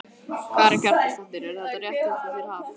Karen Kjartansdóttir: Er þetta rétt eftir þér haft?